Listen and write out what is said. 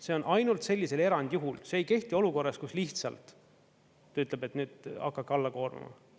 See on ainult sellisel erandjuhul, see ei kehti olukorras, kus lihtsalt ta ütleb, et nüüd hakake alla koormama.